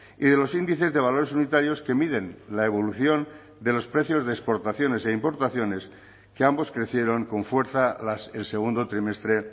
y de los índices de valores unitarios que miden la evolución de los precios de exportaciones e importaciones que ambos crecieron con fuerza el segundo trimestre